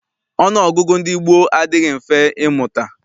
Ọnụọgụgụ ndị gboo adịghị mfe ịmụta.